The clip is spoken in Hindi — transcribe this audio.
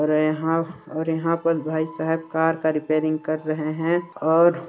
रहे हा और यहाँ पर भाई साहेब कार का रिपेयरिंग कर रहे है और --